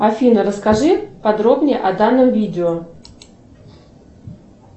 афина расскажи подробнее о данном видео